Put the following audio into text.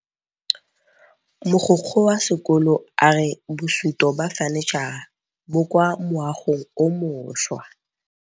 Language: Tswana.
Mogokgo wa sekolo a re bosutô ba fanitšhara bo kwa moagong o mošwa.